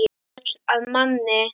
Gull að manni.